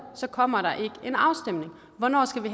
kommer der ikke en afstemning hvornår skal vi